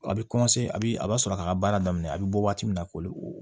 A bɛ a bɛ a b'a sɔrɔ a ka baara daminɛ a bɛ bɔ waati min na ko o